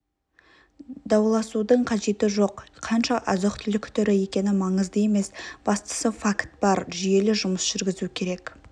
дауласудың қажеті жоқ қанша азық-түлік түрі екені маңызды емес бастысы факт бар жүйелі жұмыс жүргізу керек